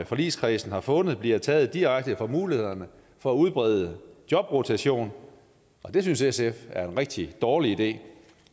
forligskredsen har fundet bliver taget direkte fra det mulighed for at udbrede jobrotation det synes sf er en rigtig dårlig idé